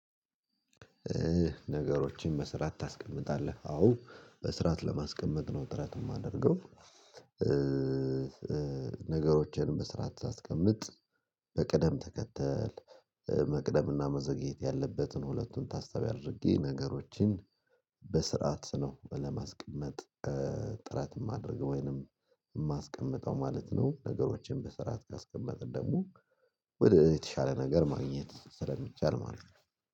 ነገሮችን በስርዓት ታስቀምጣለህ አዎ በስራአት ለማስቀመጥ ነው ጥረት የማደርገው። ነገሮችን በስራአት ሳስቀምጥ በቅደም ተከተል መቅደምና መዘግየት ያለበትን ሁለቱን ታሳቢ አድርጌ ነገሮችን በስርዓት ነው ለማስቀመጥ። ጥረት የማደርገው ወይንም የማስቀምጠው ማለት ነው። ነገሮችን በስርዓት ካስቀመጥን ደግሞ ወደ የተሻለ ነገር ማግኘት ስለሚቻል ማለት ነው።